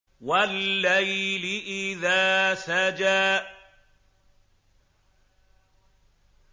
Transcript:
وَاللَّيْلِ إِذَا سَجَىٰ